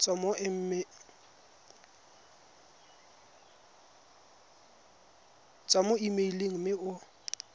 tswa mo emeileng mme o